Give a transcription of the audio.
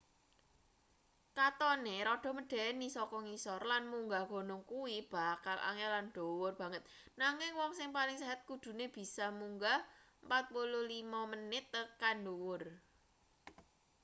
katone rada medeni saka ngisor lan munggah gunung kuwi bakal angel lan dhuwur banget nanging wong sing paling sehat kudune bisa munggah 45 menit tekan ndhuwur